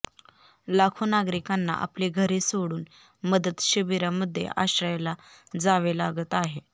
लाखो नागरिकांना आपली घरे सोडून मदत शिबिरामध्ये आश्रयाला जावे लागत आहे